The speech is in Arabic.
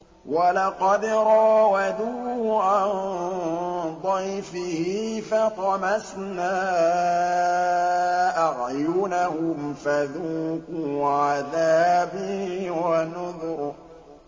وَلَقَدْ رَاوَدُوهُ عَن ضَيْفِهِ فَطَمَسْنَا أَعْيُنَهُمْ فَذُوقُوا عَذَابِي وَنُذُرِ